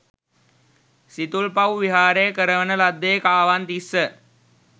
සිතුල්පව් විහාරය කරවන ලද්දේ කාවන්තිස්ස